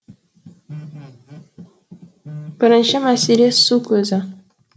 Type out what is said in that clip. бірінші мәселе су көзі